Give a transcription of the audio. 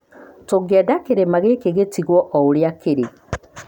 Tũngĩenda kĩrĩma gĩkĩ gĩtigwo o ũrĩa kĩrĩ".